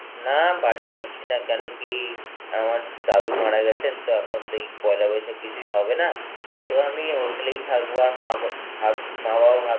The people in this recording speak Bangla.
না বাড়ি যাচ্ছি না কেনো কি আমার দাদু মারা গেছেন তা এখন পয়লা বৈশাখ কিছুই হবে না, তো আমি hostel এই থাকবো আর মা বা~ ভাব~ মা বাবা ভাব~